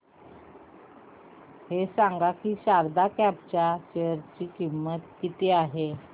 हे सांगा की शारदा क्रॉप च्या शेअर ची किंमत किती आहे